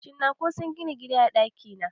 Cinnako sun gina gida a ɗaki na.